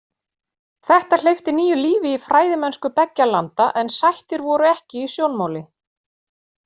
Þetta hleypti nýju lífi í fræðimennsku beggja landa en sættir voru ekki í sjónmáli.